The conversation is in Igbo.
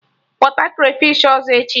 Kwọta krafish ọzọ echi!